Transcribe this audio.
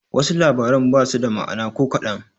Wasu labaran basu da ma'ana ko kaɗan.